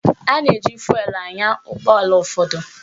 A na-eji fụelụ anya ụgbọala ụfọdụ